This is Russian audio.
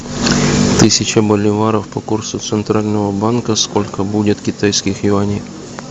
тысяча боливаров по курсу центрального банка сколько будет китайских юаней